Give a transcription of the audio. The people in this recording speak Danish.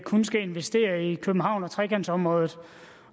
kun skal investere i københavn og trekantområdet